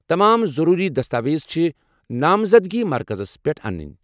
تمام ضروٗری دستاویز چھِ ناوزَدگی مرکزس پیٹھ انٕنہِ۔